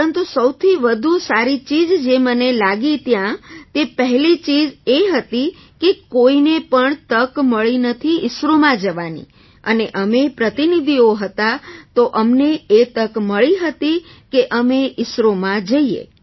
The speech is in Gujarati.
પરંતુ સૌથી વધુ સારી ચીજ જે મને લાગી ત્યાં તે પહેલી ચીજ એ હતી કે કોઈને પણ તક નથી મળી ઈસરોમાં જવાની અને અમે પ્રતિનિધિઓ હતાં તો અમને એ તક મળી હતી કે અમે ઈસરોમાં જઈએ